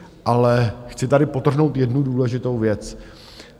Ale chci tady podtrhnout jednu důležitou věc.